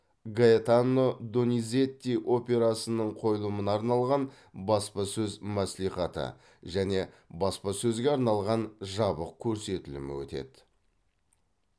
гаэтано дониззети операсының қойылымына арналған баспасөз мәслихаты және баспасөзге арналған жабық көрсетілімі өтеді